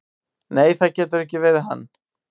"""Nei, það getur ekki verið hann."""